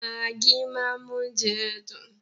Magí máa ń mú oúnjẹ dùn.